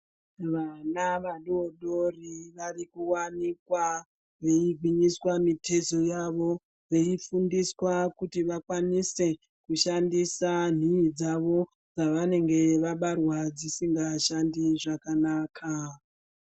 Vana vadodori varikuwanikwa veigwinyiswa mutezo yavo veifundiswa kuti vakwanise kushandisa nhii dzawo dzavanenge vabarwa dzisingashandi zvakanaka.